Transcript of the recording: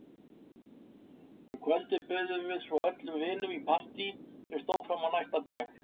Um kvöldið buðum við svo öllum vinunum í partí sem stóð fram á næsta dag.